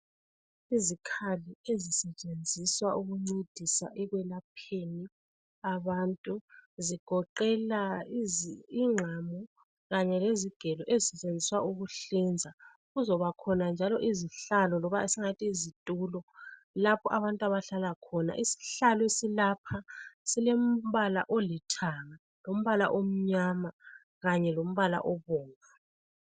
Izikhali ezisetshenziswa ukuncedisa ekwelapheni abantu. Zigoqela ingqamu, kanye lezigelo ezisetshenziswa ukuhlinza. Kuzobakhona njalo izihlalo, loba esingathi yizitulo lapho abantu abahlala khona. Isihlalo esilapha silombala olithanga, lombala omnyama, kanye lombala obomvu.